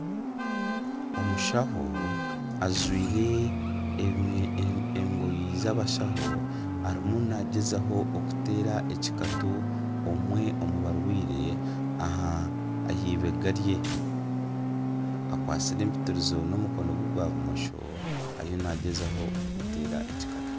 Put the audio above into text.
Omushaho ajwire engoyi zabashaho arimu naagyezaho okuteera ekikatu omwe omu barwaire ahibega rye. Akwasire empitirizo n'omukono gwe gwa bumosho ariyo naagyezaho kumuteera ekikatu.